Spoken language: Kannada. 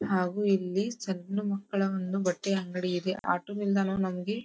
ಹಾಗು ಇಲ್ಲಿ ಸಣ್ಣ ಮಕ್ಕಳ ಒಂದು ಬಟ್ಟೆ ಅಂಗಡಿ ಇದೆ ಆಟೋ ನಿಲ್ದಾಣವು ನಮಗೆ --